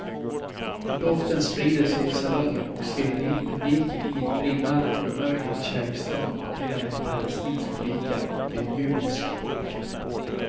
Doften sprider sig i salongen och sveper in publiken i ett brinnande omöjligt kärleksdrama mellan en palestinsk flicka och en judisk pojke.